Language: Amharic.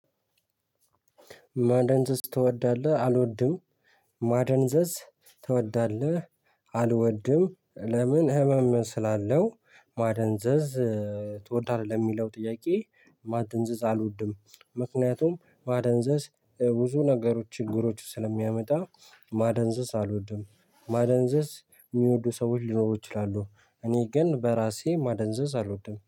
ማደንዘዝ ትወዳለህ? አልወድም። ማደንዘዝ ትወዳለህ? አልወድም። ለምን? ህመም ስላለው። ማደንዘዝ ትወዳለህ? ለሚለው ጥያቄ። ማደንዘዝ አልወድም። ምክንያቱም ማደንዘዝ ብዙ ነገሮች ችግሮች ስለሚያመጣ። ማደንዘዝ አልወድም። ማደንዘዝ የሚወዱ ሰዎች ሊኖሩ ይችላሉ። እኔ ግን በራሴ ማደንዘዝ አልወድም